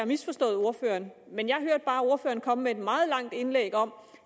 misforstået ordføreren men jeg hørte bare ordføreren komme med et meget langt indlæg om